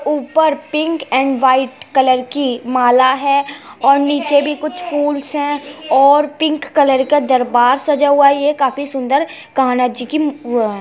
ऊपर pink and white colour की माला है और निचे भी कुछ फुलस है और पिंक कलर का दरबार सजा हुआ है। ये काफी सुन्दर कान्हा जी की वो है।